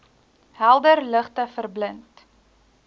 helder ligte verblind